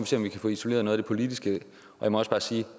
se om vi kan få isoleret noget af det politiske jeg må også bare sige at